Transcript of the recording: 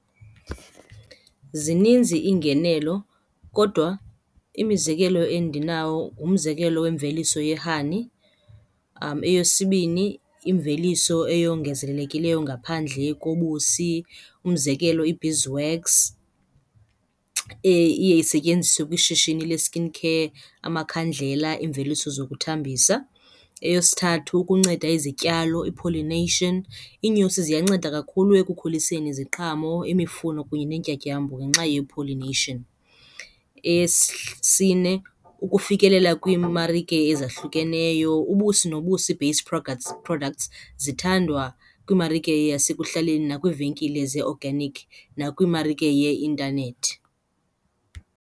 Zininzi iingenelo kodwa imizekelo endinawo ngumzekelo wemveliso ye-honey. Eyesibini, imveliso eyongezelelekileyo ngaphandle kobusi umzekelo, i-beeswax iye isetyenziswe kwishishini le-skin care, amakhandlela, iimveliso zokuthambisa. Eyesithathu, ukunceda izityalo i-pollination. Iinyosi ziyanceda kakhulu ekukhuliseni iziqhamo, imifuno kunye neentyatyambo ngenxa ye-pollination. Eyesine, ukufikelela kwiimarike ezahlukeneyo, ubusi nobusi based products zithandwa kwimarike yasekuhlaleni nakwiivenkile zee-organic nakwimarike yeintanethi.